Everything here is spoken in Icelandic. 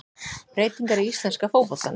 Breytingar í íslenska fótboltanum